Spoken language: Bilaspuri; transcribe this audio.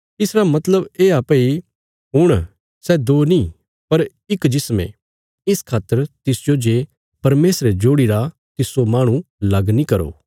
इसरा मतलब येआ भई हुण सै दो नी पर इक जिस्म ये इस खातर तिसजो जे परमेशरे जोड़ीरा तिस्सो माहणु लग नीं करो